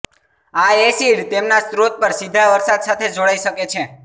આ એસિડ તેમના સ્ત્રોત પર સીધા વરસાદ સાથે જોડાઈ શકે છે